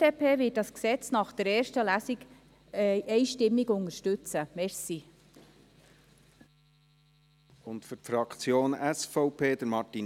Die BDP wird das Gesetz nach der ersten Lesung einstimmig unterstützen.